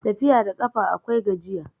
Tafiya da ƙafa akwai gajiya